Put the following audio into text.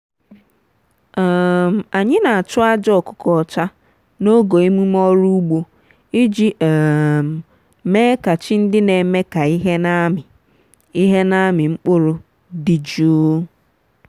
um anyị na-achụ aja ọkụkọ ọcha n'oge emume ọrụ ugbo iji um mee ka chi ndị na-eme ka ihe na-amị ihe na-amị mkpụrụ dị jụụ.